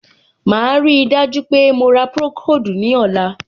Màá ríi dájú pé mo ra procold ní ọ̀la.